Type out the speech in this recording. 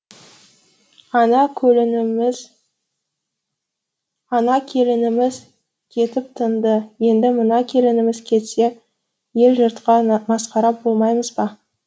ана ана келініміз кетіп тынды енді мына келініміз кетсе ел жұртқа масқара болмаймыз ба